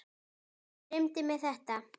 Dreymdi mig þetta?